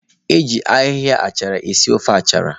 Eji ahịhịa achara esi ofe achara.